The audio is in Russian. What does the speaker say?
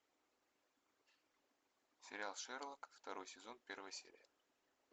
сериал шерлок второй сезон первая серия